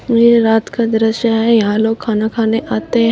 यह रात का दृश्य है यहां लोग खाना खाने आते हैं।